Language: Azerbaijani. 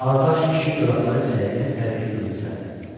Ağqaş kişi dodaqları səyriyə-səyriyə gülümsədi.